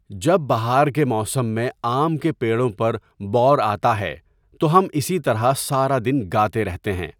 جب بہار کے موسم میں آم کے پیڑوں پر بَور آتاہے تو ہم اسی طرح سارا دن گاتے رہتےہیں.